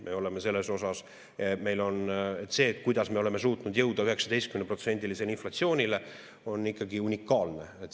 Me oleme selles, kuidas me oleme suutnud jõuda 19%‑lisele inflatsioonile, ikkagi unikaalne.